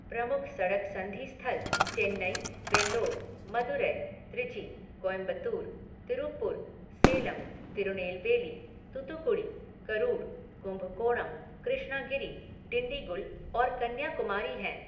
प्रमुख सड़क संधि स्थल चेन्नई, वेल्लोर, मदुरै, त्रिची, कोयम्बटूर, तिरुप्पुर, सेलम, तिरुनेलवेली, तूतुकुड़ी, करूर, कुंभकोणम, कृष्णागिरी, डिंडीगुल और कन्याकुमारी हैं।